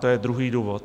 To je druhý důvod.